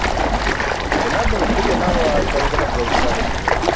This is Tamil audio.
என்ன பண்றது எல்லாம் தள்ளிதான போகுது என்ன பண்றது